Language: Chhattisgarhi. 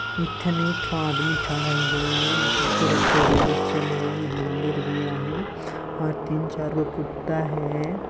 एक ठने एक ठन आदमी ठड़ा हे इहु तरफ से रेल चलेल मंदिर भी आहे और तीन चार गो कुत्ता हे।